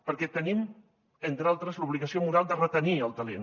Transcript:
perquè tenim entre altres l’obligació moral de retenir el talent